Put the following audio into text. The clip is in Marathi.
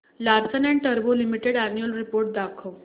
लार्सन अँड टुर्बो लिमिटेड अॅन्युअल रिपोर्ट दाखव